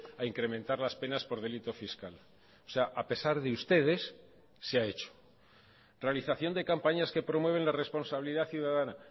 a incrementar las penas por delito fiscal o sea a pesar de ustedes se ha hecho realización de campañas que promueven la responsabilidad ciudadana